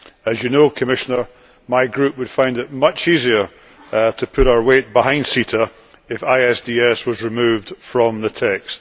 As you know, Commissioner, my group would find it much easier to put its weight behind CETA if ISDS was removed from the text.